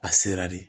A sera de